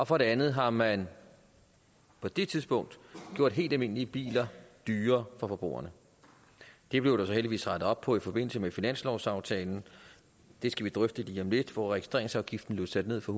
for det andet har man på det tidspunkt gjort helt almindelige biler dyrere for forbrugerne det blev der så heldigvis rettet op på i forbindelse med finanslovsaftalen det skal vi drøfte lige om lidt hvor registreringsafgiften blev sat ned fra